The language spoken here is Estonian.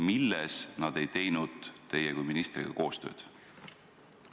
Milles nad ei teinud teie kui ministriga koostööd?